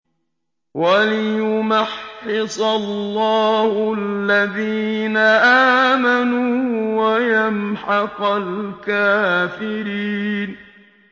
وَلِيُمَحِّصَ اللَّهُ الَّذِينَ آمَنُوا وَيَمْحَقَ الْكَافِرِينَ